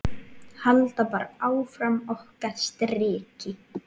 Halda bara áfram okkar striki.